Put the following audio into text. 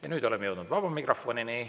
Ja nüüd oleme jõudnud vaba mikrofonini.